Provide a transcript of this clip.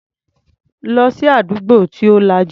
Lọ sí àdúgbò tí ò lajú.